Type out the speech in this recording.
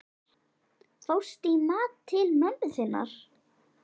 Fórstu í mat til mömmu þinnar?